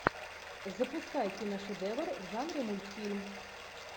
запускай киношедевр в жанре мультфильм